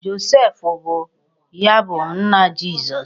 Joseph bụ ya bụ nna Jizọs.